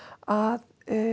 að